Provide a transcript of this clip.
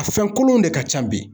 A fɛn kolonw de ka ca bi